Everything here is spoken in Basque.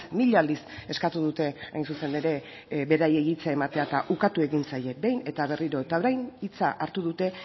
mila aldiz eskatu dute hain zuzen ere beraiei hitza ematea eta ukatu egin zaie behin eta berriro eta orain hitza hartu dute